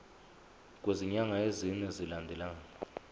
kwezinyanga ezine zilandelana